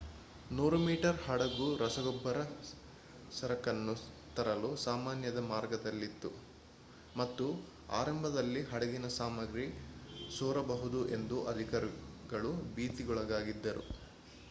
100 metre ಹಡಗು ರಸಗೊಬ್ಬರ ಸರಕನ್ನು ತರಲು ಸಾಮಾನ್ಯದ ಮಾರ್ಗದಲ್ಲಿತ್ತು ಮತ್ತು ಆರಂಭದಲ್ಲಿ ಹಡಗಿನಲ್ಲಿ ಸಾಮಗ್ರಿ ಸೋರಬಹುದು ಎಂದು ಅಧಿಕಾರಿಗಳು ಭೀತಿಗೊಳಗಾಗಿದ್ದರು